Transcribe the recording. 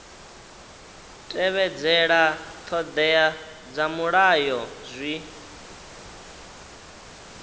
tevhedzela ṱhoḓea dza mulayo zwi